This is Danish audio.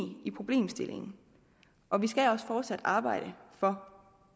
i problemstillingen og man skal også fortsat arbejde for